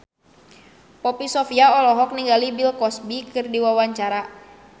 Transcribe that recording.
Poppy Sovia olohok ningali Bill Cosby keur diwawancara